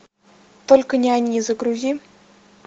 только не они загрузи